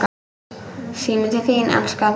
Síminn til þín, elskan!